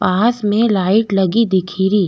पास में लाइट लगी दिखेरी।